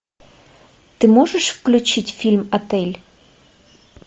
ты можешь включить фильм отель